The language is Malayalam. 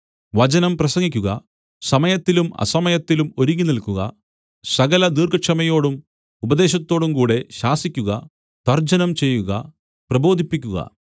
വചനം പ്രസംഗിക്കുക സമയത്തിലും അസമയത്തിലും ഒരുങ്ങിനിൽക്കുക സകല ദീർഘക്ഷമയോടും ഉപദേശത്തോടുംകൂടെ ശാസിക്കുക തർജ്ജനം ചെയ്യുക പ്രബോധിപ്പിക്കുക